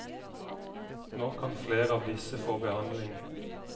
Nå kan flere av disse få behandling.